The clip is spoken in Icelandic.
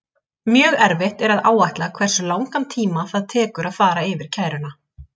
Mjög erfitt er að áætla hversu langan tíma það tekur að fara yfir kæruna.